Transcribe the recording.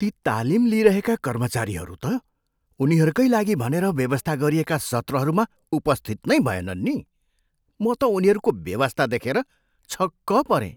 ती तालिम लिइरहेका कर्मचारीहरू त उनीहरूकै लागि भनेर व्यवस्था गरिएका सत्रहरूमा उपस्थित नै भएनन् नी। म त उनीहरूको बेवास्ता देखेर छक्क परेँ।